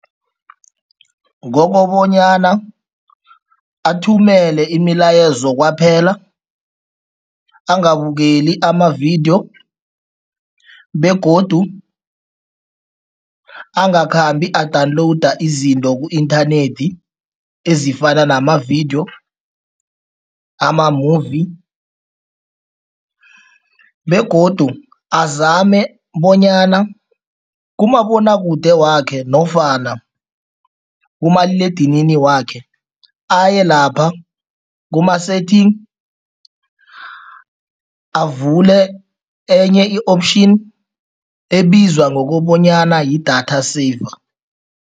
Ngokobanyana athumele imilayezo kwaphela, angabukeli amavidiyo begodu angakhambi a-download izinto ku-inthanethi ezifana nama-video, ama-movie begodu azame bonyana kumabonwakude wakhe nofana kumaliledinini wakhe, ayelapha kuma-setting, avule enye i-option ebizwa ngokobanyana yi-data saver.